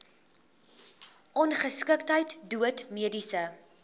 ongeskiktheid dood mediese